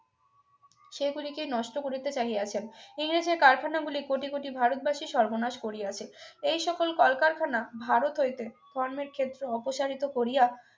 সেগুলিকে নষ্ট করিতে চাহিয়াছেন ইংরেজদের কারখানা গুলি কোটি কোটি ভারতবাসী সর্বনাশ করিয়াছে এই সকল কলকারখানা ভারত হইতে ধর্মের ক্ষেত্র অপসারিত করিয়া